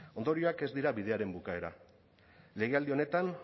ondorioak ez dira bidearen bukaeran legealdi honetan